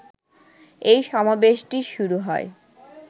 এই সমাবেশটি শুরু হয়